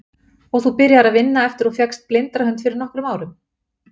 Og þú byrjaðir að vinna eftir að þú fékkst blindrahund fyrir nokkrum árum?